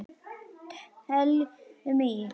Teljum í!